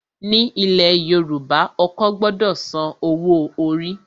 Ní ilẹ̀ Yorùbá, ọkọ gbọdọ san owó orí.